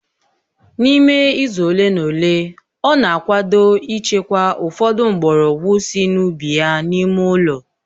N'ime izu ole na ole, ọ na-akwado ịchekwa ụfọdụ mgbọrọgwụ sị n'ubi ya n'ime ụlọ